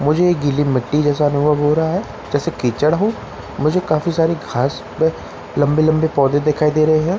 मुझे एक गीली मिट्टी जैसा अनुभव हो रहा है जैसे कीचड़ हो मुझे काफी सारे घास पे लंबे लंबे पौधे दिखाई दे रहे हैं मुझे एक ब --